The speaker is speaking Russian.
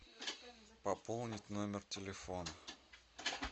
пополнить номер телефона